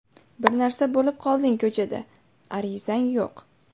Bir narsa bo‘lib qolding ko‘chada, arizang yo‘q.